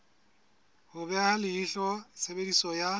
ho beha leihlo tshebediso ya